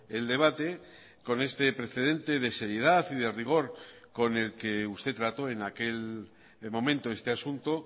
el debate con este precedente de seriedad y de rigor con el que usted trató en aquel momento este asunto